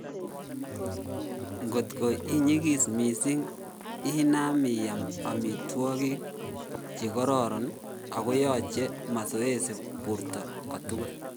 Ngotko inyikis mising inam iyam amitwogik chekororn akoyoche mazoezi borto kotugul